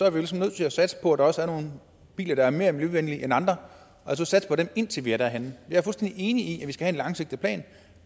jo ligesom nødt til at satse på at der også er nogle biler der er mere miljøvenlige end andre altså satse på dem indtil vi er nået derhen jeg er fuldstændig enig i at vi skal have en langsigtet plan